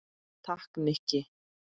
Takk, Nikki